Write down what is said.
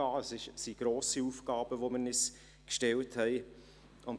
Es sind grosse Aufgaben, die wir uns gestellt haben.